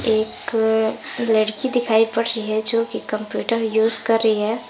एक लड़की दिखाई पड़ रही है जो कि कंप्यूटर यूज कर रही है।